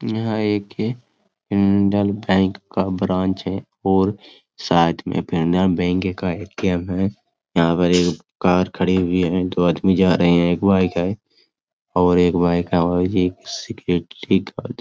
यहा एक हैं इंडियन बैंक का ब्रांच है और साइड में इंडियन बैंक का ए.टी.एम. है यहां पर एक कार खड़ी हुई है दो आदमी जा रहे हैं एक बाइक है और एक बाइक है और ये सिक्योरिटी गार्ड --